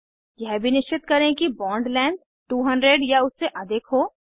यह भी निश्चित करें कि बॉन्ड लेंथ 200 या उससे अधिक हो